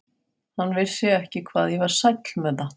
Hann vissi ekki hvað ég var sæll með það.